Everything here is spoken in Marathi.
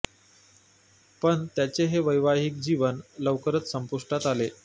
पण त्याचे हे वैवाहिक जीवन लौकरच संपुष्टात आले